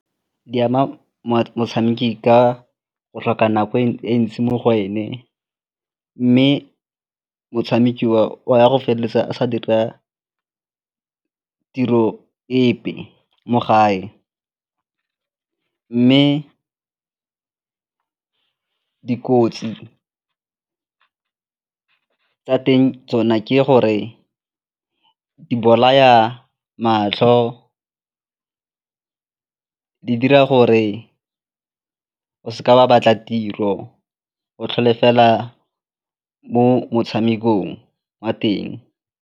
Di ama motshameki ka go tlhoka nako e ntsi mo go ene mme motshameki o ya go feleletsa a sa dira tiro epe mo gae mme dikotsi tsa teng tsona ke gore di bolaya matlho, di dira gore o seke wa batla tiro, o tlhole fela mo motshamekong wa teng.